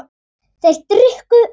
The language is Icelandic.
Þeir drukku allir.